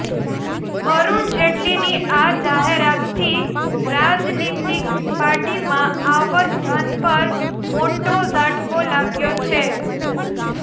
અરુણ જેટલીની આ જાહેરાતથી રાજનીતિક પાર્ટીમાં આવત ધન પર મોટો ઝાટકો લાગ્યો છે